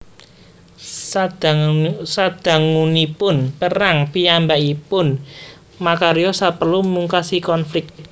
Sadangunipun perang piyambakipun makarya saperlu mungkasi konflik